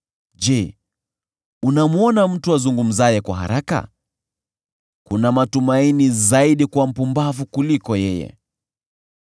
Je, unamwona mtu azungumzaye kwa haraka? Kuna matumaini zaidi kwa mpumbavu kuliko yeye.